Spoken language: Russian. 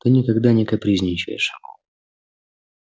ты никогда не капризничаешь